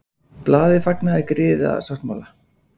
Blaðið fagnaði griðasáttmála